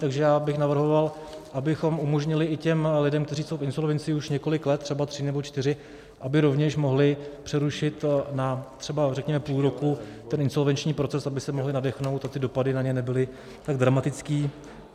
Takže já bych navrhoval, abychom umožnili i těm lidem, kteří jsou v insolvenci už několik let, třeba tři nebo čtyři, aby rovněž mohli přerušit na třeba, řekněme půl roku, ten insolvenční proces, aby se mohli nadechnout a ty dopady na ně nebyly tak dramatické.